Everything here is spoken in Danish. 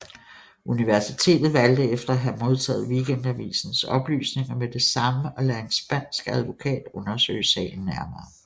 Universitetet valgte efter at have modtaget Weekendavisens oplysninger med det samme at lade en spansk advokat undersøge sagen nærmere